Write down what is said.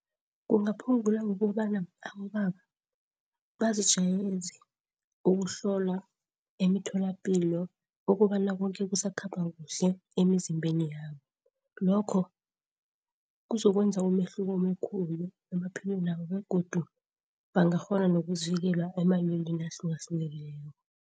Kungaphungula ngokobana abobaba bazijwayeze ukuhlola emitholapilo ukobana koke kusakhamba kuhle emzimbeni yabo. Lokho kuzokwenza umehluko omkhulu emaphilwenabo begodu bangakghona nokuzivikela emalweleni ahlukahlukeneko.